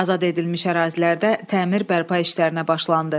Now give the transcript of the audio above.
Azad edilmiş ərazilərdə təmir bərpa işlərinə başlanıldı.